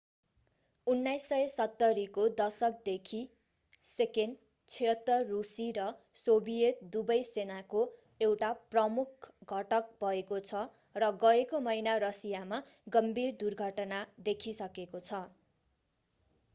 1970 को दशकदेखि il-76 रूसी र सोभियत दुवै सेनाको एउटा प्रमुख घटक भएको छ र गएको महिना रसियामा गम्भीर दुर्घटना देखिसकेको छ